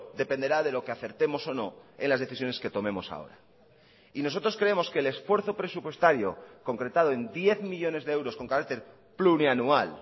dependerá de lo que acertemos o no en las decisiones que tomemos ahora y nosotros creemos que el esfuerzo presupuestario concretado en diez millónes de euros con carácter plurianual